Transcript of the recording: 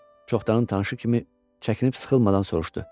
Çoxdanın tanışı kimi çəkinib-sıxılmadan soruşdu.